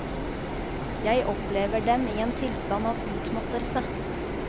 Jeg opplever dem i en tilstand av utmattelse.